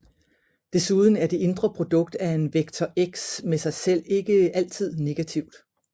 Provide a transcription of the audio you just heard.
Desuden er det indre produkt af en vektor x med sig selv altid ikke negativt